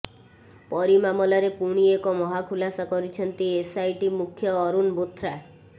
ପରୀ ମାମଲାରେ ପୁଣି ଏକ ମହାଖୁଲାସା କରିଛନ୍ତି ଏସଆଇଟି ମୁଖ୍ୟ ଅରୁଣ ବୋଥ୍ରା